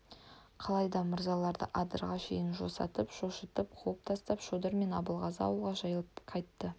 қалай да мырзаларды адырға шейін жосытып шошытып қуып тастап шодыр мен абылғазы ауылға жайланып қайтты